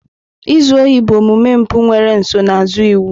Izu ohi bụ omume mpụ nwere nsonaazụ iwu.